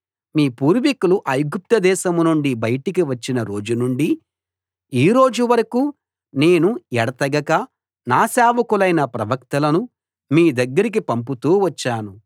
మీ పూర్వికులు ఐగుప్తు దేశం నుండి బయటకు వచ్చిన రోజు నుండి ఈ రోజు వరకూ నేను ఎడతెగక నా సేవకులైన ప్రవక్తలను మీ దగ్గరికి పంపుతూ వచ్చాను